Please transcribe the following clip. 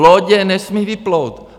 Lodě nesmí vyplout.